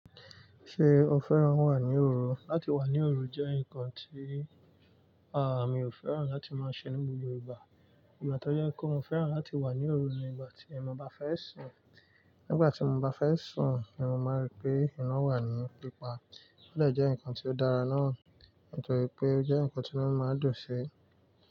Ṣé o fẹ́ràn wà ní òru? Láti wà ní òru jẹ́ ǹkan tí, a, mi ò fẹ́ràn láti máa ṣe ní gbogbo igbà. Ìgbà tí o yẹ́ kọ wọn o fẹ́ràn láti wà ní òru yẹn ìgbà tí mo bá fẹ́ sùn. Nígbà tí mo bá fẹ́ sùn ni mo máa n rí pé iná wà ní pípa. Ó lẹ jẹ́ ǹkan tí ó dára náà nítorí pé ó jẹ́ ǹkan tí mo máa ń dùn sí.